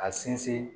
A sinsin